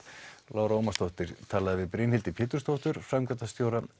Lára Ómarsdóttir talaði við Brynhildi Pétursdóttur framkvæmdastjóra